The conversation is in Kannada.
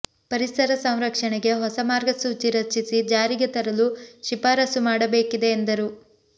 ಪರಿಸರ ಸಂರಕ್ಷಣೆಗೆ ಹೊಸ ಮಾರ್ಗಸೂಚಿ ರಚಿಸಿ ಜಾರಿಗೆ ತರಲು ಶಿಫಾರಸು ಮಾಡಬೇಕಿದೆ ಎಂದರು